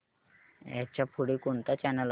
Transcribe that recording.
ह्याच्या पुढे कोणता चॅनल आहे